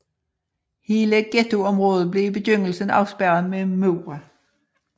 Hele ghettoområdet blev i begyndelsen afspærret med mure